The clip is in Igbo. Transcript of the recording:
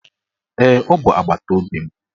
Ee, ọ bụ agbataobi m